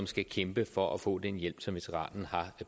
skal kæmpe for at få den hjælp som veteranen har